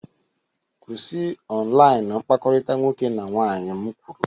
Kwụsị online mkpakọrịta nwoke na nwaanyị m kwuru!